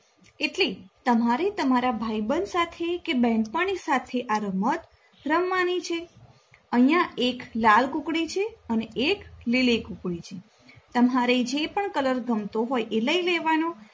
એટલે તમારે તમારા ભાઈબંધ સાથે કે બહેનપણી સાથે આ રમત રમવાની છે. અહિયાં એક લાલ કૂકડી છે અને એક લીલી કૂકડી છે.